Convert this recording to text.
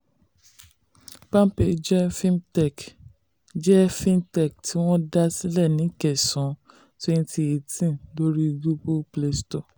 palmpay jẹ́ fintech jẹ́ fintech tí wọ́n dá sílẹ̀ ní kẹsàn-án twenty eighteen lórí google play store